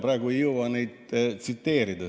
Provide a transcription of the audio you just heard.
Praegu ei jõua neid tsiteerida.